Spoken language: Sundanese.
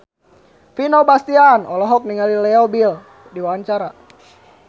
Vino Bastian olohok ningali Leo Bill keur diwawancara